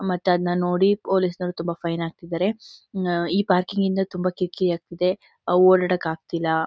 ಮತ್ತೆ ಅದ್ನ ನೋಡಿ ಪೊಲೀಸ್ ನವರು ತುಂಬಾ ಫೈನ್ ಹಾಕಿದ್ದಾರೆ ಹ್ಮ್ಮ್ ಆ ಈ ಪಾರ್ಕಿಂಗ್ ಇಂದ ತುಂಬಾ ಕಿರ್ಕಿರಿ ಆಗ್ತಾ ಇದೆ ಓಡ್ ಆಡಾಕ್ ಆಗ್ತಾ ಇಲ್ಲ